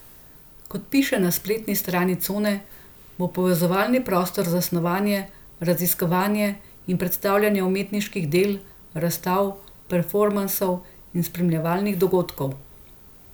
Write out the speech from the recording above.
Kot piše na spletni strani Cone, bo povezovalni prostor za snovanje, raziskovanje in predstavljanje umetniških del, razstav, performansov in spremljevalnih dogodkov.